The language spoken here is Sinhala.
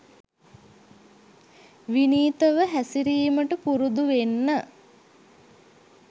විනීතව හැසිරීමට පුරුදුවෙන්න